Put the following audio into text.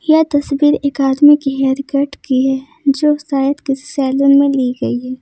यह तस्वीर एक आदमी की हेयरकट की है जो शायद किसी सैलून में ली गई है।